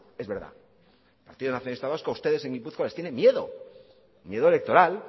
es verdad el partido nacionalista vasco a ustedes en gipuzkoa les tienen miedo miedo electoral